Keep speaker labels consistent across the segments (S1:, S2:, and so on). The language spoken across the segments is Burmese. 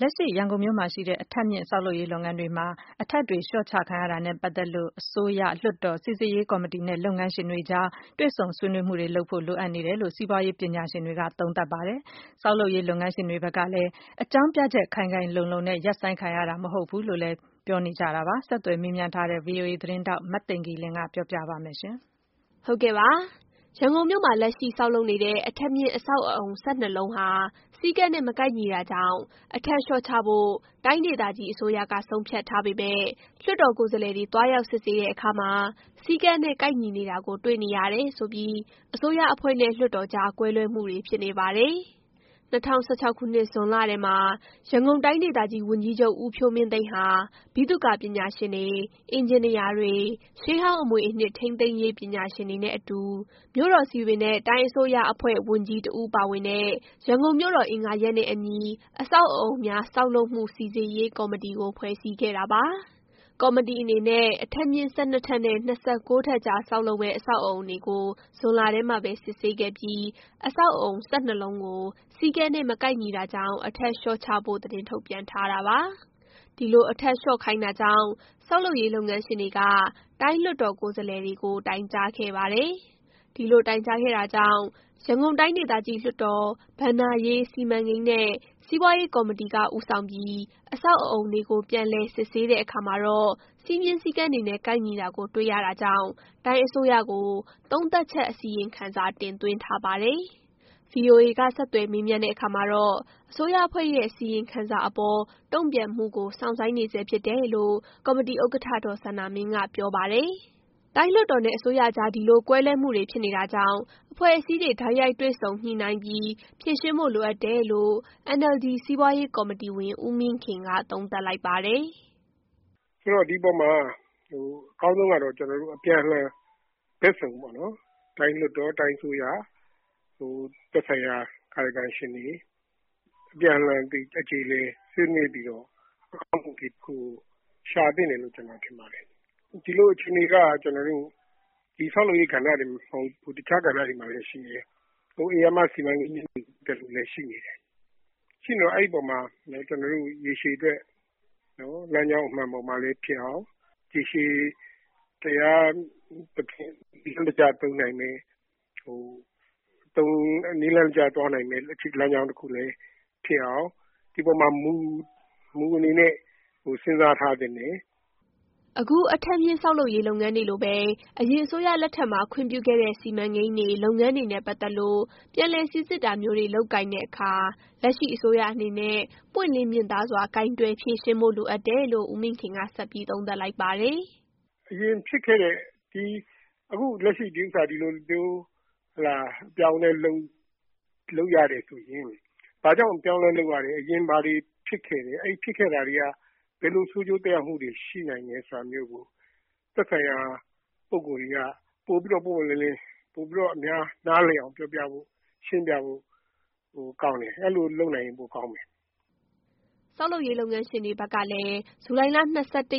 S1: လက်ရှိ ရန်ကုန်မြို့မှာရှိတဲ့ အထပ်မြင့်ဆောက်လုပ်ရေးလုပ်ငန်းတွေမှာ အထပ်တွေ လျော့ချခံရတာနဲ့ ပတ်သက်လို့ အစိုးရ၊ လွှတ်တော်၊ စိစစ်ရေးကော်မတီ နဲ့ လုပ်ငန်းရှင်တွေကြား တွေ့ဆုံဆွေးနွေးမှုတွေ လုပ်ဖို့ လိုအပ်နေတယ်လို့ စီးပွားရေး ပညာရှင်တွေက သုံးသပ်ပါတယ်။ ဆောက်လုပ်ရေးလုပ်ငန်းရှင်တွေဘက်ကလည်း အကြောင်းပြချက် ခိုင်ခိုင်လုံလုံနဲ့ ရပ်ဆိုင်းခံရတာ မဟုတ်ဘူးလို့လည်း ပြောပါတယ်။ ဆက်သွယ်မေးမြန်းထားတဲ့ VOA သတင်းထောက် မသိင်္ဂ ီလင်း က ပြောပြပေးပါမယ်။ ရန်ကုန်မြို့မှာ လက်ရှိဆောက်လုပ်နေတဲ့ အထပ်မြင့်အဆောက်အအုံ ၁၂ လုံးဟာ စည်းကမ်းနဲ့ မကိုက်ညီတာကြောင့် အထပ်လျှော့ချဖို့ တိုင်းဒေသကြီးအစိုးရက ဆုံးဖြတ်ထားပေမယ့် လွှတ်တော်ကိုယ်စားလှယ်တွေ သွားရောက်စစ်ဆေးတဲ့အခါမှာ စည်းကမ်းနဲ့ ကိုက်ညီနေတာကို တွေ့ရှိနေရတယ်ဆိုပြီး အစိုးရအဖွဲ့နဲ့ လွှတ်တော်ကြား ကွဲလွဲမှုတွေ ဖြစ်နေပါတယ်။ ၂၀၁၆ ခုနှစ်ဇွန်လထဲမှာ ရန်ကုန်တိုင်းဒေသကြီးဝန်ကြီးချုပ် ဦးဖြိုးမင်းသိန်းဟာ ဗိသုကာပညာရှင်တွေ၊ အင်ဂျင်နီယာတွေ၊ ရှေးဟောင်းအမွေအနှစ် ထိန်းသိမ်းရေးပညာရှင်တွေနဲ့ အတူ မြို့တော်စည်ပင် နဲ့ တိုင်းအစိုးရအဖွဲ့ဝန်ကြီး တစ်ဦးပါဝင်တဲ့ ရန်ကုန်မြို့တော်အင်္ဂါရပ်နဲ့အညီ အဆောက်အအုံများ ဆောက်လုပ်မှု စိစစ်ရေးကော်မတီကို ဖွဲ့စည်းခဲ့တာပါ။ ကော်မတီအနေနဲ့ အထပ်မြင့် ၁၂ ထပ်နဲ့ ၂၉ ထပ်ကြား ဆောက်လုပ်မယ့် အဆောက်အအုံတွေကို ဇွန်လထဲမှာ စစ်ဆေးခဲ့ပြီး အဆောက်အအုံ ၁၂ လုံးကို စည်းကမ်းနဲ့ မကိုင်ညီတာကြောင့် အထပ်လျှော့ချဖို့ သတင်းထုတ်ပြန်ထားတာပါ။ ဒီလို အထပ်လျော့ခိုင်းတာကြောင့် ဆောက်လုပ်ရေးလုပ်ငန်းရှင်တွေက တိုင်းလွှတ်တော်ကိုယ်စားလှယ်တွေကို တိုင်ကြားခဲ့ပါတယ်။ ဒီလိုတိုင်ကြားခဲ့တာကြောင့် ရန်ကုန်တိုင်းဒေသကြီးလွှတ်တော် ဘဏ္ဍာရေး၊ စီမံကိန်းနဲ့ စီးပွားရေးကော်မတီက ဦးဆောင်ပြီး အဆောက်အအုံတွေကိ ုပြန်လည် စစ်ဆေးတဲ့အခါမှာတော့ စည်းမျဉ်းစည်းကမ်းတွေနဲ့ ကိုက်ညီတာကိုတွေ့ရ တာကြောင့် တိုင်းအစိုးရကို သုံးသပ်ချက်အစီရင်ခံစာ တင်သွင်းထားပါတယ်။ VOA က ဆက်သွယ်မေးမြန်းတဲ့အခါမှာတော့ အစိုးရအဖွဲ့ရဲ့ အစီရင်ခံစာအပေါ် တုံ့ပြန်မှုကို စောင့်ဆိုင်းနေဆဲဖြစ်တယ်လို့ ကော်မတီဥက္ကဋ္ဌ ဒေါ်စန္ဒာမင်းက ပြောပါတယ်။ တိုင်းလွှတ်တော်နဲ့ အစိုးရကြား ဒီလို ကွဲလွဲမှုတွေ ဖြစ်နေတာကြောင့် အဖွဲ့အစည်းတွေ တိုက်ရိုက်တွေ့ဆုံ ညှိနှိုင်းပြီး ဖြေရှင်းဖို့လိုအပ်တယ်လို့ NLD စီးပွားရေးကော်မတီဝင် ဦးမင်းခင်က သုံးသပ်လိုက်ပါတယ်။
S2: "ဆိုတော့ ဒီအပေါ်မှာ အကောင်းဆုံးကတော့ အပြန်အလှန် ဘက်စုံပေါ့နော် တိုင်းလွှတ်တော်၊ တိုင်းအစိုးရ၊ သက်ဆိုင်ရာ ကာယကံရှင်တွေ အပြန်အလှန်အကြေအလည် ဆွေးနွေးပြီးတော့ အကောင်းဆုံး အဖြေတခုကို ရှာသင့်တယ်လို့ ကျနော်ထင်ပါတယ်။ ဒီလိုအခြေအနေက ဆောက်လုပ်ရေး ကဏ္ဍတင်မဟုတ်ဘူး တခြားကဏ္ဍတွေမှာလည်း ရှိတယ်။ ဧရာမစီမံကိန်းကြီးတွေ မှာလည်း ရှိနေတယ်။ ရှိနေတော့ အဲ့အပေါ်မှာ ကျနော်တို့ ရေရှည်အတွက် လမ်းကြောင်းမှန်မှာလည်းဖြစ်အောင် ရှေရှည် တရားသဖြင့် စနစ်တကျ နည်းလမ်းတကျ သွားနိုင်မယ့် လမ်းကြောင်းတခုလည်းဖြစ်အောင် ဒီအပေါ်မှာ မူ အနေနဲ့ စဉ်းစားထားသင့်တယ်။ "
S1: အခု အထပ်မြင့်ဆောက်လုပ်ရေးလုပ်ငန်းတွေလိုပဲ အရင်အစိုးရလက်ထက်မှာ ခွင့်ပြုခဲ့တဲ့ စီမံကိန်းတွေ၊ လုပ်ငန်းတွေနဲ့ ပတ်သက်လို့ ပြန်လည် စိစစ်တာမျိုးတွေ လုပ်ကိုင်တဲ့အခါ လက်ရှိအစိုးရအနေနဲ့ ပွင့်လင်းမြင်သာစွာ ကိုင်တွယ်ဖြေရှင်းဖို့ လိုအပ်တယ်လို့ ဦးမင်းခင်က ဆက်ပြီး သုံးသပ်လိုက်ပါတယ်။
S2: " အရင်ဖြစ်ခဲ့တဲ့ ဒီဥစ္စာကို အခု ဒီလိုမျိုး အပြောင်းအလဲလုပ်ရတယ်ဆိုရင် ဘာကြောင့် အပြောင်းအလဲလုပ်ရတယ်။ အရင်ဘာတွေဖြစ်ခဲ့တယ်။ ဖြစ်ခဲ့တာတွေ က ဘယ်လို ဆိုးကျိုးသက်ရောက်မှု တွေ ရှိနိုင်တယ်ဆိုတာမျိုးကို သက်ဆိုင်ရာ ပုဂ္ဂိုလ်တွေက ပိုပြီးတော့ ပွင့်ပွင့်လင်းလင်း ပိုပြီးတော့ အများ နားလည်အောင် ပြောပြ ဖို့ ရှင်းပြဖို့ ကောင်းတယ်။ အဲ့လိုလုပ်နိုင်ရင် ပိုကောင်းမယ်
S1: ။" ဆောက်လုပ်ရေးလုပ်ငန်းရှင်တွေဘက်ကလည်း ဇူလိုင်လ ၂၁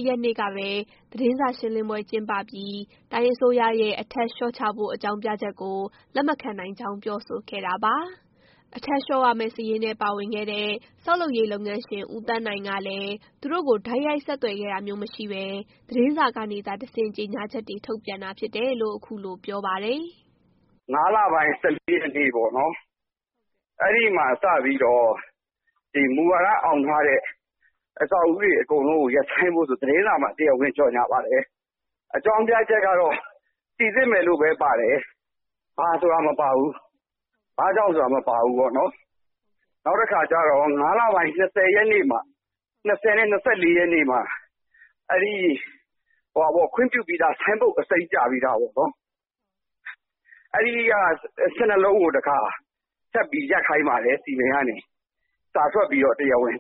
S1: ရက်နေ့ကပဲ သတင်းစာ ရှင်းလင်းပွဲကျင်းပပြီး တိုင်းအစိုးရရဲ့ အထပ်လျှော့ချဖို့ အကြောင်းပြချက်ကို လက်မခံနိုင်ကြောင်း ပြောဆိုခဲ့တာပါ။ အထပ်လျှော့ရမယ့် စာရင်းထဲပါဝင်တဲ့ ဆောက်လုပ်ရေး လုပ်ငန်းရှင် ဦးသန်းနိုင် ကလည်း သူတို့ကို တိုက်ရိုက် ဆက်သွယ်ခဲ့တာမရှိဘဲ သတင်းစာကနေသာ တဆင့် ကြေညာချက်တွေ ထုတ်ပြန်တာဖြစ်တယ်လို့ အခုလို ပြောပါတယ်
S3: ။ " ၅လပိုင်း ၁၄ရက်နေ့ပေါ့နော်။ အဲ့ဒီ့မှာစပြီးတော့ မူဝါဒအောင်ထားတဲ့ အဆောက်အဦးတွေကို တရားဝင်ရပ်ဆိုင်းဖို့ဆိုပြီး သတင်းစာမှာ တရားဝင်ကြေညာပါတယ်။ အကြောင်းပြချက်ကတော့ စိစစ်မယ်လို့ပဲ ပါတယ်။ ဘာဆိုတာ မပါဘူး။ ဘာကြောင့်ဆိုတာ မပါဘူးပေါ့နော်။ နောက်တခါကျတော့ ၅လပိုင်း ၂၀ရက်နေ့၊ ၂၄ရက်နေ့မှာ ခွင့်ပြုပြီးသား ဆိုင်းဘုတ် အစိမ်းပြပြီးသားပေါ့နော်။ အဲ့ဒီ့ ၁၂လုံးကို ထပ်ပြီးတော့ ရပ်ခိုင်းပါတယ်။ စည်ပင်ကနေ စာထွက်ပြီးတော့ တရားဝင်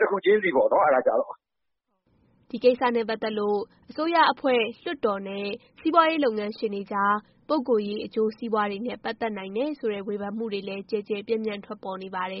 S3: တခုချင်းစီပေါ့နော်။ အဲ့တာကျတော့
S1: ။" ဒီကိစ္စနဲ့ ပတ်သက်လို့ အစိုးရအဖွဲ့၊ လွှတ်တော်နဲ့ စီးပွားရေးလုပ်ငန်းရှင်တွေကြား ပုဂိုလ်ရေး အကျိုးစီးပွားတွေနဲ့ ပတ်သက်နိုင်တယ်ဆိုတဲ့ ဝေဖန်မှုတွေလည်း ကျယ်ကျယ်ပြန့်ပြန့် ထွက်ပေါ်နေပါတယ်